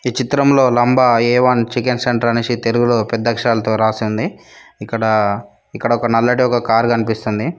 చిత్రంలో లంబ A one chicken centre అనేసి తెలుగులో పెద్ద అక్షరాలతో రాసింది ఇక్కడ ఇక్కడ ఒక నల్లటి ఒక కారు కనిపిస్తుంది.